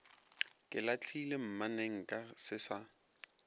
ke lahlile mmanenka se sa